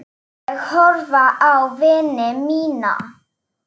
Ég horfði á vini mína.